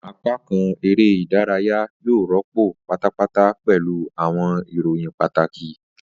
Apakan ere idaraya yoo rọpo patapata pẹlu awọn iroyin pataki.